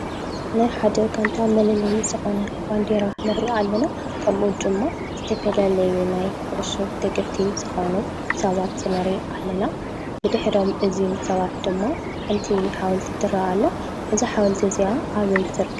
ናይ ሓደ ጋንታ መለለይ ዝኮነ ባንዴራ ንርኢ ኣለና። ከምኡ እዉን ድማ ዝተፋላለዩ ናይ ኩዕሶ ደገፍቲ ዝኮኑ ሰባት ንርኢ ኣለና። ብድሕሪ እዞም ሰባት ድማ ሓንቲ ሓወልቲ ትረአ ኣላ:: እዛ ሓወልቲ እዚኣ ኣበይ ትርከብ?